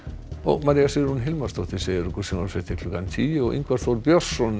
María Sigrún Hilmarsdóttir segir sjónvarpsfréttir klukkan tíu og Ingvar Þór Björnsson